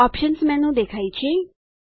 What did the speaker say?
options menu દેખાય છે